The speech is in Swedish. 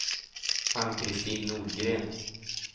Ann-Kristin Nordgren